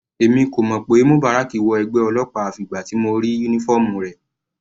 Èmi kò mọ̀ pé Mubarak wọ ẹgbẹ́ ọlọ́pàá àfi ìgbà tí mo rí uniform rẹ̀.